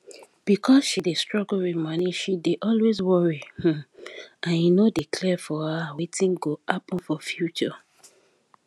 because she dey struggle with monie she dey always worry um and e no dey clear for her wetin go happen for future